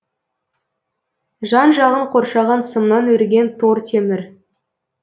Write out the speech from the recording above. жан жағын қоршаған сымнан өрген тор темір